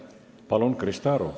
Palun, Krista Aru!